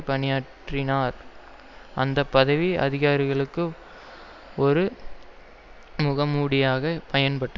பணியாற்றினார் அந்தப்பதவி அதிகாரிகளுக்கு ஒரு முகமூடியாக பயன்பட்ட